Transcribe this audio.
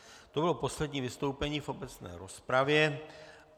To bylo poslední vystoupení v obecné rozpravě.